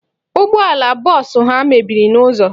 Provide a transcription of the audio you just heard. Ụgbọala bọọsụ ha mebiri n'ụzọ.